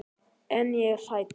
En ég er hrædd.